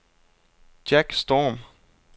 Jack Storm